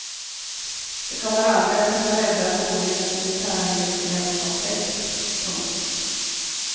Det kommer aldrig kunna rädda ett onödigt militärindustriellt komplex. punkt